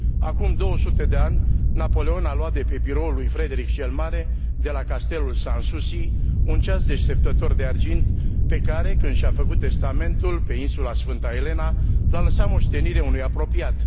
Acum 200 de ani, Napoleon a luat de pe biroul lui Frederic cel Mare de la castelul Sans Souci, un ceas deșteptător de argint pe care, când și a făcut testamentul, pe insula Sfânta Elena, l a lăsat moștenire unui apropiat.